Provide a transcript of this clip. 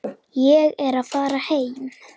Ég er að fara heim.